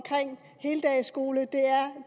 heldagsskole